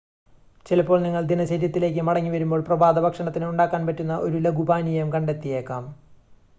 ചിലപ്പോൾ നിങ്ങൾ ദിനചര്യത്തിലേക്ക് മടങ്ങി വരുമ്പോൾ പ്രഭാതഭക്ഷണത്തിന് ഉണ്ടാക്കാൻ പറ്റുന്ന ഒരു ലഘു പാനീയം കണ്ടെത്തിയേക്കാം